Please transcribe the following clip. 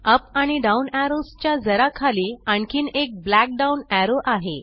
up आणि down arrows च्या जरा खाली आणखीन एक ब्लॅक डाउन एरो आहे